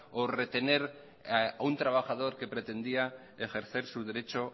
o retener a un trabajador que pretendía ejercer su derecho